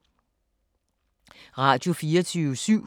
Radio24syv